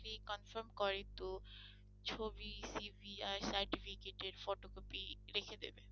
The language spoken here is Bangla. confirm করে তো ছবি CV আর certificate এর photocopy রেখে দেবে।